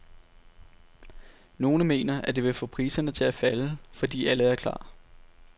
Nogle mener, at det vil få priserne til at falde fordi alle er klar.